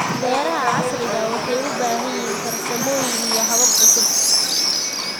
Beeraha casriga ahi waxay u baahan yihiin farsamooyin iyo habab cusub.